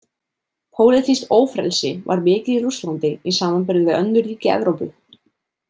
Pólitískt ófrelsi var mikið í Rússlandi í samanburði við önnur ríki Evrópu.